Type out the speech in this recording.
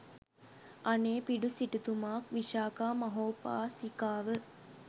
අනේපිඬු සිටුතුමා, විශාකා මහෝපාසිකාව,